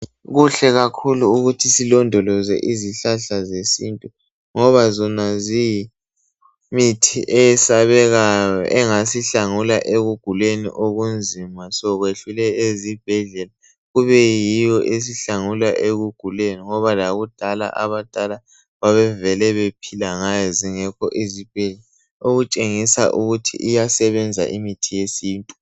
Kuhle kakhulu ukuthi silondoloze izihlahla zesintu, ngoba zona ziyimithi eyesabekayo engasihlangula ekuguleni okunzima sekwehlule ezibhedlela, kube yiyo esihlangula ekuguleni ngoba lakudala abadala babevele bephila ngayo zingekho izibhedlela, okutshengisa ukuthi iyasebenza imithi yesintu.